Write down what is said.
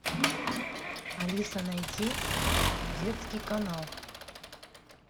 алиса найди детский канал